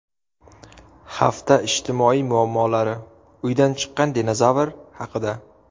Hafta ijtimoiy muammolari: Uydan chiqqan dinozavr haqida.